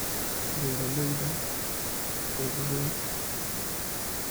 Beeralayda ugu weyn.